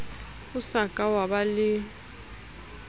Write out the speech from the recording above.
o sa ka waba le